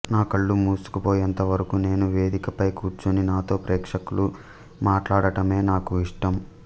నాకళ్లు మూసుకుపోయేంతవరకు నేను వేదికపై కూర్చుని నాతో ప్రేక్షకులు మాట్లాడటమే నాకు ఇష్టం